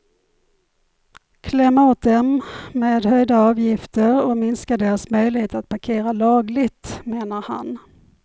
Kläm åt dem med höjda avgifter och minska deras möjlighet att parkera lagligt, menar han.